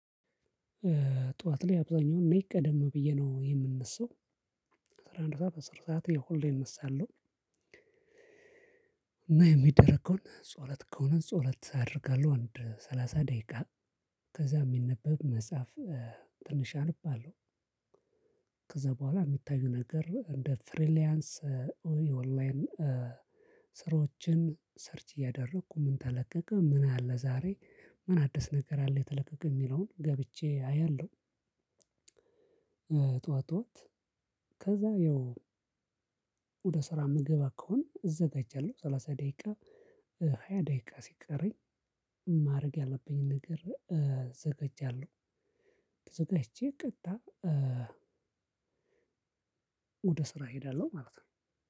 ጠዋት ላይ አብዛኛውን እኔ ቀደም ብዬ ነው የምነሳው አስራ አንድ ሰዓት አስር ሰዓት ያው ሁሌ እነሳለሁ። እና የሚደረገውን ጸሎት ከሆነ ጸሎት አደርጋለሁ አንድ ሰላሳ ደቂቃ ከዛ የሚነበብ መጽሐፍ ትንሽ አነባለው። ከዛ በኋላ የሚታዩ ነገር እንደ ፍሪላንስ ኦንላይን ስራዎችን ሰርች እያደረኩ ምን ተለቀቀ ምን አለ ዛሬ ምን አዲስ ነገር አለ የተለቀቀ የሚለውን ገብቼ አያለሁ። ጠዋት ጠዋት ከዛ ያው ወደ ስራ የምገባ ከሆነ እዘጋጃለሁ ሰላሳ ደቂቃ ሃያ ደቂቃ ሲቀረኝ ማድረግ ያለብኝን ነገር እዘጋጃለሁ። ተዘጋጅቼ ቀጥታ ወደ ስራ እሄዳለሁ ማለት ነው።